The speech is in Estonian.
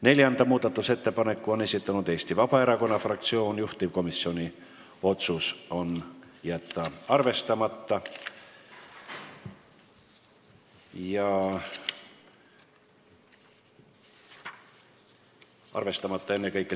Neljanda muudatusettepaneku on esitanud Eesti Vabaerakonna fraktsioon, juhtivkomisjoni otsus: jätta arvestamata.